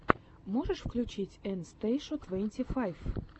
можешь включить эн стейшу твенти файв